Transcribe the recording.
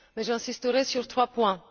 J'insisterai sur trois points.